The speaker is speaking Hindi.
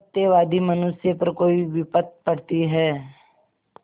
सत्यवादी मनुष्य पर कोई विपत्त पड़ती हैं